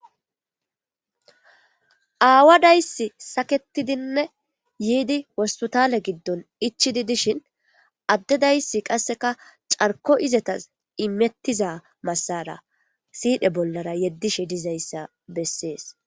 Awa dayssi saketidin yiidi wospitale gidon ichidi dishshin ade dayissi qasekka carkko izetas imetiza masarara sidhe bolara yedishe dizayissa besses